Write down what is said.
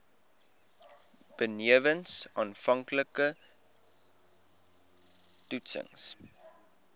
benewens aanvanklike toetsings